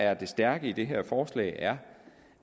er det stærke i det her forslag er